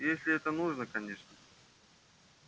если это нужно конечно